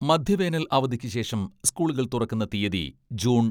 മധ്യവേനൽ അവധിക്ക് ശേഷം സ്കൂളുകൾ തുറക്കുന്ന തീയതി ജൂൺ